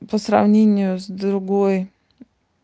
по сравнению с другой